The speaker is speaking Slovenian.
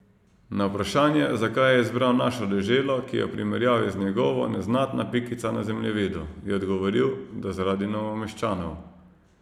Na vprašanje, zakaj je izbral našo deželo, ki je v primerjavi z njegovo neznatna pikica na zemljevidu, je odgovoril, da zaradi Novomeščanov.